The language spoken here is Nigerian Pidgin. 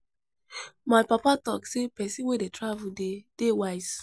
My papa talk sey person wey dey travel dey dey wise